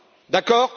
d'accord?